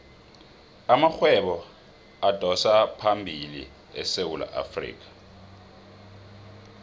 amarhwebo adosaphambili esewula afrikha